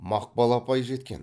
мақпал апай жеткен